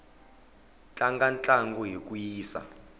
tlanga ntlangu hi ku yisa